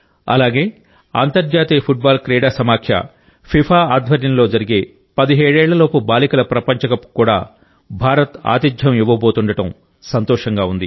అలాగే అంతర్జాతీయ football క్రీడా సమాఖ్య ఫిఫా ఆధ్వర్యంలో జరిగే పదిహేడేళ్ల లోపు బాలికల ప్రపంచకప్కు కూడా భారత్ ఆతిథ్యం ఇవ్వబోతుండడం సంతోషంగా ఉంది